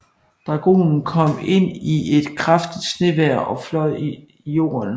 Dragonen kom ind i et kraftigt snevejr og fløj i jorden